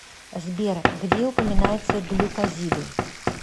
сбер где упоминается глюкозиды